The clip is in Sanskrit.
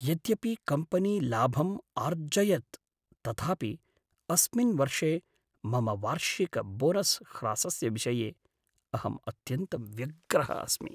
यद्यपि कम्पनी लाभम् आर्जयत् तथापि, अस्मिन् वर्षे मम वार्षिकबोनस् ह्रासस्य विषये अहम् अत्यन्तं व्यग्रः अस्मि।